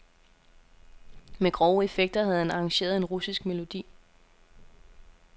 Med grove effekter havde han arrangeret en russisk melodi.